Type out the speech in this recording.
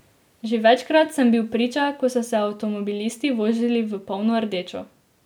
Že večkrat sem bil priča, ko so se avtomobilisti vozili v polno rdečo.